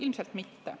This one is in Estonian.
Ilmselt mitte.